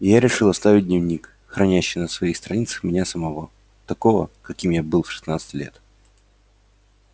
и я решил оставить дневник хранящий на своих страницах меня самого такого каким я был в шестнадцать лет